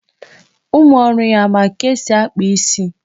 Ụmụ ọrụ ya, e nwere nke ma akpa isi?